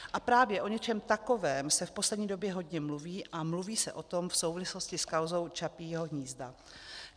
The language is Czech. A právě o něčem takovém se v poslední době hodně mluví a mluví se o tom v souvislosti s kauzou Čapího hnízda.